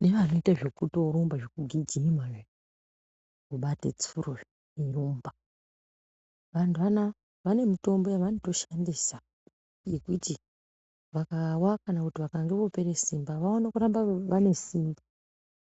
nevanoite zvekutorumba zvekugijima, zvekubate tsuro eirumba vanhu anaya vane mitombo yavanotoshandisa yekuti vakawa kana kuti vopere simba vaone kuramba vaine simba.